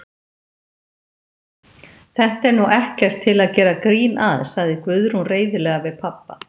Þetta er nú ekkert til að gera grín að, sagði Guðrún reiðilega við pabba.